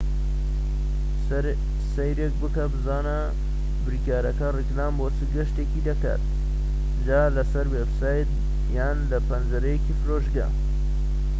سەیرێک بکە بزانە بریکارەکە ڕیکلام بۆ چ گەشتێک دەکات جا لە سەر وێبسایت یان لە پەنجەرەیەکی فرۆشگا